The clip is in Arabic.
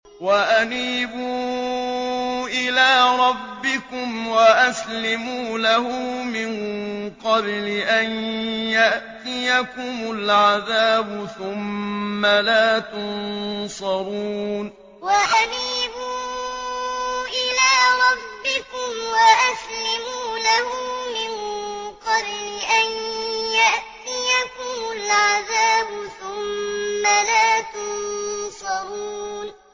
وَأَنِيبُوا إِلَىٰ رَبِّكُمْ وَأَسْلِمُوا لَهُ مِن قَبْلِ أَن يَأْتِيَكُمُ الْعَذَابُ ثُمَّ لَا تُنصَرُونَ وَأَنِيبُوا إِلَىٰ رَبِّكُمْ وَأَسْلِمُوا لَهُ مِن قَبْلِ أَن يَأْتِيَكُمُ الْعَذَابُ ثُمَّ لَا تُنصَرُونَ